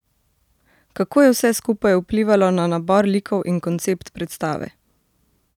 Kako je vse skupaj vplivalo na nabor likov in koncept predstave?